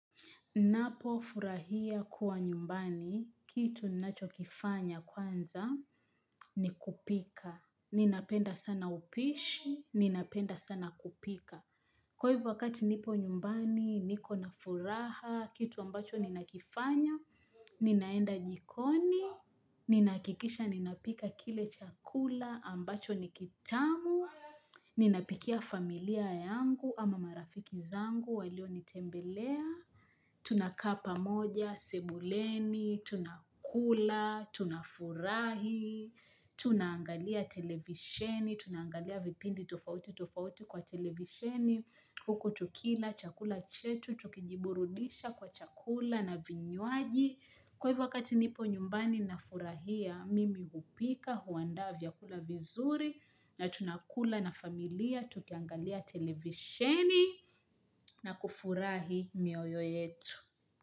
Napo furahia kuwa nyumbani, kitu nacho kifanya kwanza, ni kupika. Ninapenda sana upishi, ninapenda sana kupika. Kwa hivo wakati nipo nyumbani, niko na furaha, kitu ambacho ninakifanya, ninaenda jikoni, ninakikisha ninapika kile chakula ambacho nikitamu, ninapikia familia yangu ama marafiki zangu walio nitembelea. Tunakaa pamoja, simbuleni, tunakula, tunafurahi, tunaangalia televisheni, tunaangalia vipindi tofauti tofauti kwa televisheni, hukutukila, chakula chetu, tukijiburudisha kwa chakula na vinywaji. Kwa hivo wakati nipo nyumbani na furahia, mimi hupika, huandaa vyakula vizuri, na tunakula na familia, tukiangalia televisheni na kufurahi mioyo yetu.